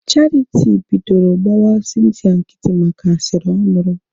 Charity bidoro gbawa Cynthia nkịtị maka asịrị ọ nụrụ